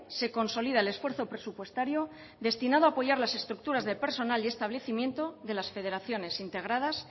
se consolida el esfuerzo presupuestario destinado a apoyar las estructuras de personal y establecimiento de las federaciones integradas